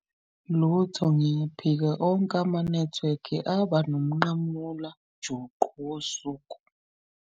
Lutho ngiyaphika, onke amanethiwekhi abanomnqamula juqu wosuku.